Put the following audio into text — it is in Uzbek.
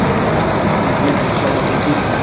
Ko‘ngil yoza oldingizmi?”.